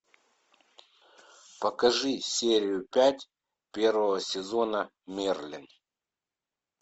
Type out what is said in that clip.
покажи серию пять первого сезона мерлин